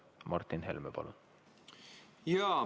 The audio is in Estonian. Martin Helme, palun!